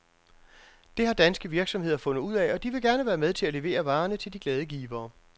Det har danske virksomheder fundet ud af, og de vil gerne være med til at levere varerne til de glade givere.